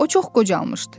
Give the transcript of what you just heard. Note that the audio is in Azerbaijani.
O çox qocalmışdı.